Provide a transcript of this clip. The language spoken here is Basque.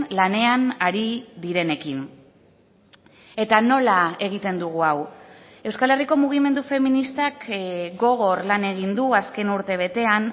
lanean ari direnekin eta nola egiten dugu hau euskal herriko mugimendu feministak gogor lan egin du azken urtebetean